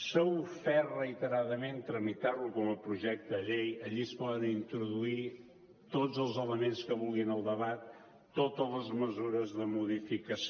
s’ha ofert reiteradament tramitar lo com a projecte de llei allí es poden introduir tots els elements que vulguin al debat totes les mesures de modificació